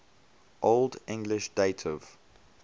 old english dative